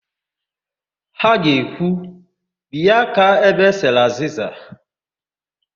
Ha ga-ekwu, binye aka ebe e sere azịza"!